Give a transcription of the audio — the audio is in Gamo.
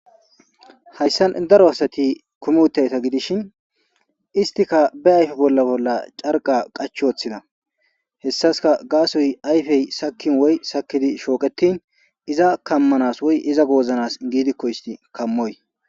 hayssan daro asati kumi utidayta gidishin istika be ayfe bolla bolla carqa qach ooththida hessaska gaasoy ayfey sakin woy sakidi shooqetin iza kammanas woy iza gooznas giidikko isti kammoy